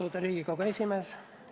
Austatud Riigikogu esimees!